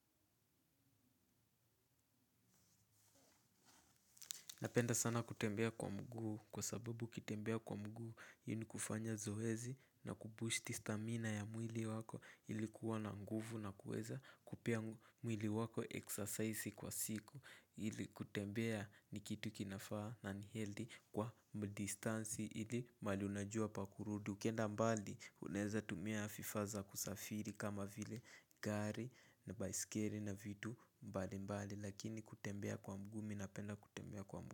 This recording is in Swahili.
Napenda sana kutembea kwa mguu kwa sababu ukitembea kwa mguu hii ni kufanya zoezi na kubushti stamina ya mwili wako ilikuwa na nguvu na kuweza kupea mwili wako exercise kwa siku ili kutembea ni kitu kinafaa nani healthy kwa mdistansi ili mahali unajua pa kurudi. Ukenda mbali, unaeza tumia vifaa vya kusafiri kama vile gari na baisikeli na vitu mbali mbali lakini kutembea kwa mguu mimi napenda kutembea kwa mguu.